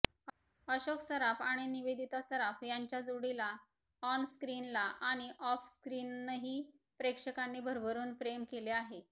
अशोक सराफ आणि निवेदिता सराफ यांच्या जोडीला ऑनस्क्रीनला आणि ऑफस्क्रिनही प्रेक्षकांनी भरभरून प्रेम केले आहे